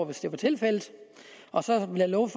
hvis det var tilfældet og så vil jeg love